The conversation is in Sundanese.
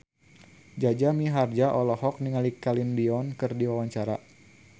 Jaja Mihardja olohok ningali Celine Dion keur diwawancara